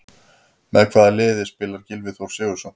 Með hvaða liði spilar Gylfi Þór Sigurðsson?